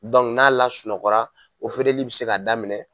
n'a lasunɔgɔ la, be se ka daminɛ.